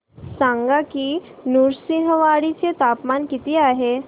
सांगा की नृसिंहवाडी चे तापमान किती आहे